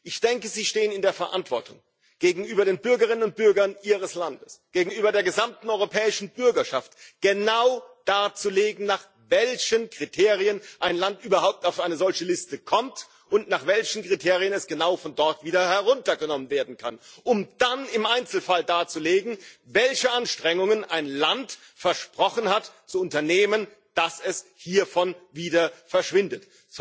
Ich denke, Sie stehen in der Verantwortung gegenüber den Bürgerinnen und Bürgern Ihres Landes, gegenüber der gesamten europäischen Bürgerschaft, genau darzulegen, nach welchen Kriterien ein Land überhaupt auf eine solche Liste kommt und nach welchen Kriterien es genau von dort wieder heruntergenommen werden kann, um dann im Einzelfall darzulegen, welche Anstrengungen ein Land versprochen hat zu unternehmen, damit es hiervon wieder verschwindet.